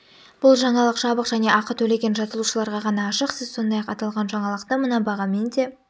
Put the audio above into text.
бұл жаңалық жабық және ақы төлеген жазылушыларға ғана ашық сіз сондай-ақ аталған жаңалықты мына бағамен де